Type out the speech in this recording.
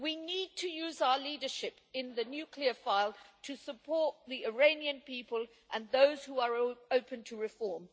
We need to use our leadership in the nuclear file to support the Iranian people and those who are open to reform.